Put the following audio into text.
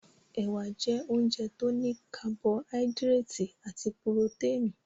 Ẹ̀wà jẹ́ oúnjẹ tó ní kabọhádírètì àti puroténì.